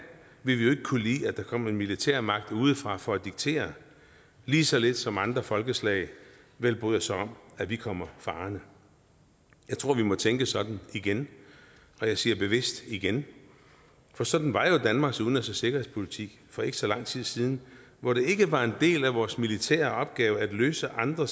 vi ville kunne lide at der kom en militærmagt udefra for at diktere lige så lidt som andre folkeslag vil bryde sig om at vi kommer farende jeg tror vi må tænke sådan igen og jeg siger bevidst igen for sådan var jo danmarks udenrigs og sikkerhedspolitik for ikke så lang tid siden hvor det ikke var en del af vores militære opgave at løse andre